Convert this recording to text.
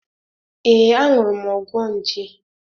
Ee, añụrụ m ọgwọ nje.